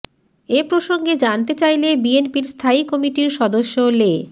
এ প্রসঙ্গে জানতে চাইলে বিএনপির স্থায়ী কমিটির সদস্য লে